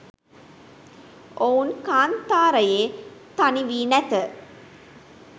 ඔවුන් කාන්තාරයේ තනි වී නැත